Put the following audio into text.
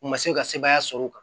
U ma se ka sebaaya sɔrɔ o kan